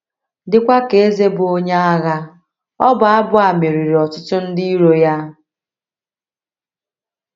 Dịkwa ka eze bụ́ onye agha, ọbụ abụ a meriri ọtụtụ ndị iro ya.